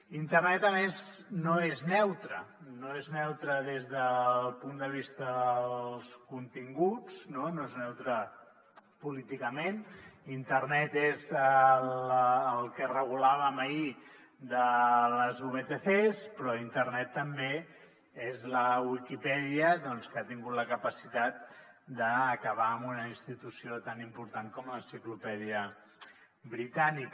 internet a més no és neutre no és neutre des del punt de vista dels continguts no és neutre políticament internet és el que regulàvem ahir de les vtc però internet també és la viquipèdia que ha tingut la capacitat d’acabar amb una institució tan important com l’enciclopèdia britànica